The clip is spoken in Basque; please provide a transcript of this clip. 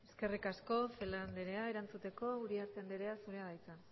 eskerrik asko celaá andrea erantzuteko uriarte andrea zurea da hitza